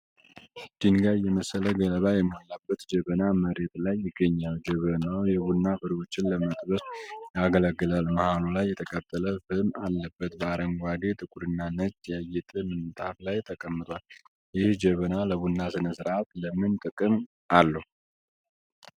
ድንጋይ የመሰለ ገለባ የሞላበት ጀበና መሬት ላይ ይገኛል። ጀበናው የቡና ፍሬዎችን ለመጠበስ ያገለግላል፤ መሃሉ ላይ የተቃጠለ ፍም አለበት። በአረንጓዴ፣ ጥቁርና ነጭ ያጌጠ ምንጣፍ ላይ ተቀምጧል። ይህ ጀበና ለቡና ሥነ-ሥርዓት ለምን ጥቅም አለው?